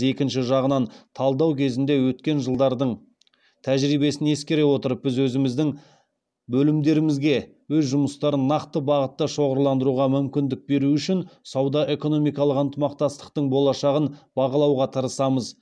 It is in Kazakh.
екінші жағынан талқылау кезінде өткен жылдардың тәжірибесін ескере отырып біз өзіміздің бөлімдерімізге өз жұмыстарын нақты бағытта шоғырландыруға мүмкіндік беру үшін сауда экономикалық ынтымақтастықтың болашағын бағалауға тырысамыз